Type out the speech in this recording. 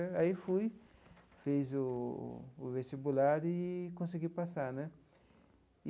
Aí fui, fiz o o vestibular e consegui passar né.